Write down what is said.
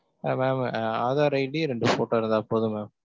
ஆஹ் mam Aadhaar id ரெண்டு photo இருந்தா போதும் mam.